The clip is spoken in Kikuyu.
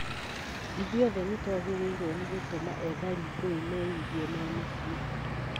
Ithuothe nĩtwagĩrĩirwo nĩ gũtũma ethari ngũĩ meigue me mũciĩ